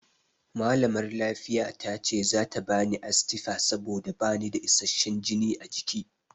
Malamar lafiya tace zata bani Astifa saboda bana da isasshen jini a jiki.